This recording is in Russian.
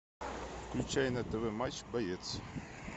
включай на тв матч боец